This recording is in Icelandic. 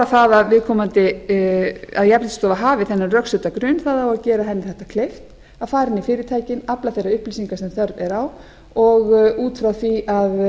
það að jafnréttisstofa hafi þennan rökstudda grun á að gera henni þetta kleift að fara inn í fyrirtækin afla þeirra upplýsinga sem þörf er á og út frá því að